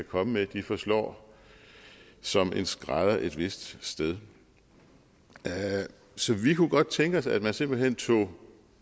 komme med forslår som en skrædder et vist sted så vi kunne godt tænke os at man simpelt hen tog